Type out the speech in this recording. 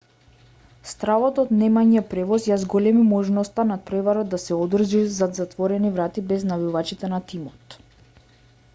стравот од немање превоз ја зголеми можноста натпреварот да се одржи зад затворени врати без навивачите на тимот